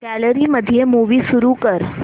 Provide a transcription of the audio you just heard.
gallery मध्ये movie सुरू कर